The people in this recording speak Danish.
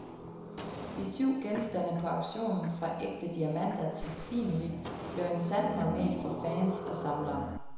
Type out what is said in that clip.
De syv genstande på auktionen, fra ægte diamanter til simili, blev en sand magnet for fans og samlere.